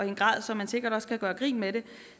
en grad så man sikkert også kan gøre grin med det